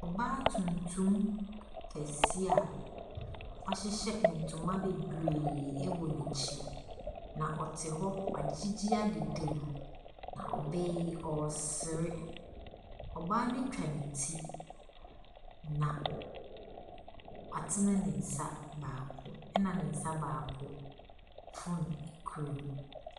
Ɔbaa tuntum kɛseɛ a wahyehyɛ ntoma bebree wɔ n'akyi, na ɔte hɔ, wagyegyɛ adedam, na ɔbaa yi, ɔresere. Ɔbaa no atwa ne ti, na watene ne nsa baako, ɛnna ne nsa baako phone kura mu.